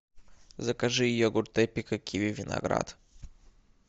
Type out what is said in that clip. закажи йогурт эпика киви виноград